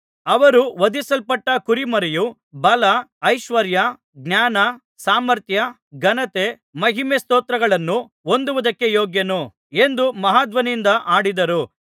ಅವರು ವಧಿಸಲ್ಪಟ್ಟ ಕುರಿಮರಿಯು ಬಲ ಐಶ್ವರ್ಯ ಜ್ಞಾನ ಸಾಮರ್ಥ್ಯ ಘನತೆ ಮಹಿಮೆ ಸ್ತೋತ್ರಗಳನ್ನು ಹೊಂದುವುದಕ್ಕೆ ಯೋಗ್ಯನು ಎಂದು ಮಹಾಧ್ವನಿಯಿಂದ ಹಾಡಿದರು